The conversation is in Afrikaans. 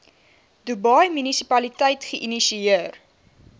dubai munisipaliteit geïnisieer